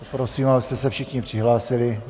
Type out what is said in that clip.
Prosím, abyste se všichni přihlásili...